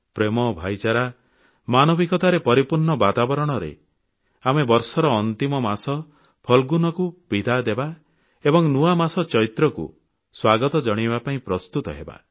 ପ୍ରେମ ଭ୍ରାତୃଭାବ ମାନବିକତାରେ ପରିପୂର୍ଣ୍ଣ ବାତାବରଣରେ ଆମେ ବର୍ଷର ଅନ୍ତିମ ମାସ ଫାଲଗୁନକୁ ବିଦାୟ ଦେବା ଏବଂ ନୂଆ ମାସ ଚୈତ୍ରକୁ ସ୍ୱାଗତ ଜଣାଇବା ପାଇଁ ପ୍ରସ୍ତୁତ ହେବା